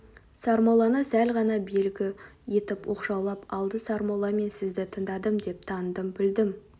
сармолланы сәл ғана белгі етіп оқшаулап алды сармолла мен сізді тыңдадым да таныдым білдім